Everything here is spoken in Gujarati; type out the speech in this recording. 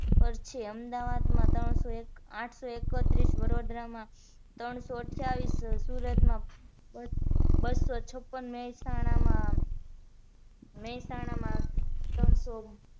પર છે અમદાવાદમાં ત્રણ સો આઠ સો એક્ત્રીસ, વડોદરા ત્રણ સો અઠ્યાવીસ, સુરત માં બસો છપ્પ્ન, મેસાણા માં મેસાણા માં ત્રણ સો